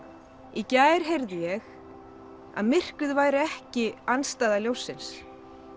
í gær heyrði ég að myrkrið væri ekki andstæða ljóssins